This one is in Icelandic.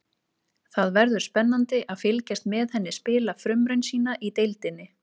Það verður spennandi að fylgjast með henni spila frumraun sína í deildinni.